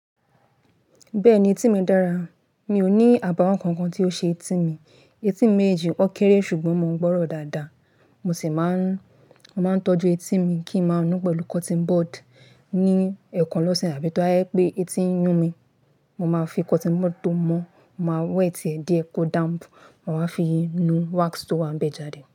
Bẹ́ẹ̀ni etí mi dára, mi ò ní àbàwọ́n kankan tí ó ṣe etí mi. Etí mi méjèèjì o kéré ṣùgbọ́n mo ń gbọ́ràn dáadáa. Mo sì máa ń, mo máa ń tọ́jú etí mi kí n máa nu pẹ̀lú cotton bud ní ẹ̀ẹ̀kan lọ́sẹ̀ àbí tó ba jẹ́ pé etí ń yún mi, mo máa fi cotton bud tó mọ́, mo máa wẹ́ẹ̀tì ẹ̀ díẹ̀ kó damp, màá wá fi nu wax tó wá ń bẹ jáde.